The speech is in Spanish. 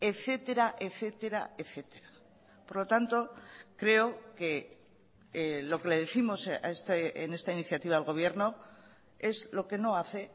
etcétera etcétera etcétera por lo tanto creo que lo que le décimos en esta iniciativa al gobierno es lo que no hace